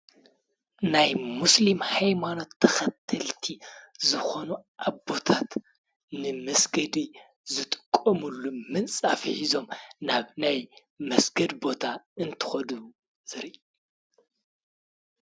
ናይ ሙስሊም ሃይማኖት ተኸተልቲ ዝኾኑ አቦታት ንመስገዲ ዝጥቀምሉ ምንፃፍ ሒዞም ናብ ናይ መስገዲ ቦታ እንትከዱ ዘርኢ።